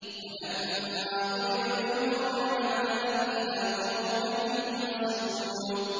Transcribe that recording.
۞ وَلَمَّا ضُرِبَ ابْنُ مَرْيَمَ مَثَلًا إِذَا قَوْمُكَ مِنْهُ يَصِدُّونَ